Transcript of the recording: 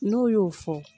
N'o y'o fɔ